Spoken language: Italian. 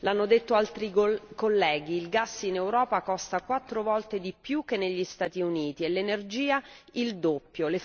L'hanno detto altri colleghi il gas in Europa costa quattro volte di più che negli Stati Uniti e l'energia il doppio.